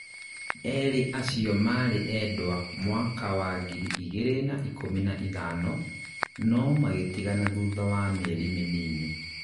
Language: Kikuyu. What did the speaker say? erĩ acio marĩ endwa mwaka wa ngiri igĩrĩ na ikũmi na ithano, no magĩtigana thutha wa mĩeri mĩnini